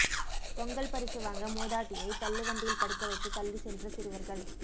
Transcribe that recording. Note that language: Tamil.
பொங்கல் பரிசு வாங்க மூதாட்டியை தள்ளுவண்டியில் படுக்க வைத்து தள்ளி சென்ற சிறுவர்கள்